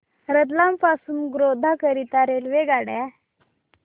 रतलाम पासून गोध्रा करीता रेल्वेगाड्या